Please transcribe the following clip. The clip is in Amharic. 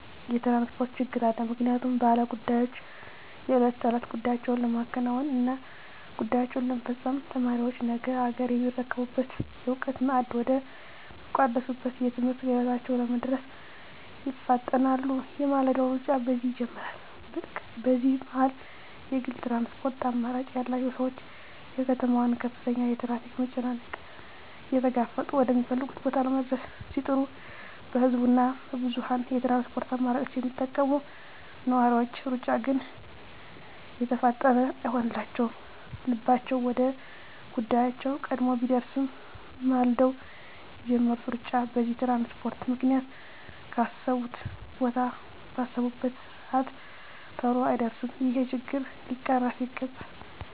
የትራንስፖርት ችግር አለ ምክንያቱም ባለ ጉዳዮች የእለት ተእለት ጉዳያቸዉን ለማከናወን እና ጉዳያቸዉን ለመፈፀም፣ ተማሪዎች ነገ አገርየሚረከቡበትን የእዉቀት ማዕድ ወደ ሚቋደሱበት የትምህርት ገበታቸዉ ለመድረስ ይፋጠናሉ የማለዳዉ ሩጫ በዚህ ይጀምራል በዚህ መሀል የግል ትራንስፖርት አማራጭ ያላቸዉ ሰዎች የከተማዋን ከፍተኛ የትራፊክ መጨናነቅ እየተጋፈጡ ወደ ሚፈልጉት ቦታ ለመድረስ ሲጥሩ በህዝብ እና በብዙኀን የትራንስፖርት አማራጮች የሚጠቀሙ ነዋሪዎች ሩጫ ግን የተፋጠነ አይሆንላቸዉም ልባቸዉ ወደ ጉዳያቸዉ ቀድሞ ቢደርስም ማልደዉ የጀመሩት ሩጫ በዚህ በትራንስፖርት ምክንያት ካሰቡት ቦታ ባሰቡበት ሰአት ተሎ አይደርሱም ይሄ ችግር ሊቀረፍ ይገባል